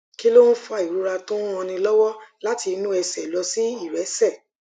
kí ló ń fa ìrora tó ń ranni lówó láti inú ẹsè lọ sí ìrẹsè